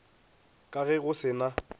ka ge go se na